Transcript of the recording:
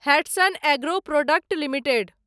Hatsun agro product limited